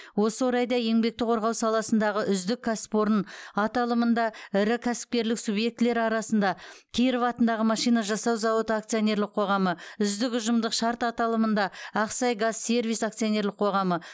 осы орайда еңбекті қорғау саласындағы үздік кәсіпорын аталымында ірі кәсіпкерлік субъектілері арасында киров атындағы машина жасау зауыты акционерлік қоғамы үздік ұжымдық шарт аталымында ақсайгазсервис акционерлік қоғамы